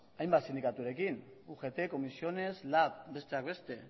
hainbat sindikaturekin ugt comisiones lab besteak beste